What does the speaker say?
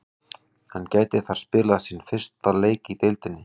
Hann gæti þar spilað sinn fyrsta leik í deildinni.